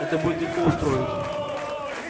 это будет легко устроить